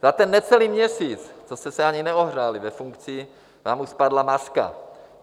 Za ten necelý měsíc, co jste se ani neohřáli ve funkci, vám už spadla maska.